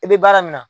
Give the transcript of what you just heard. I bɛ baara min na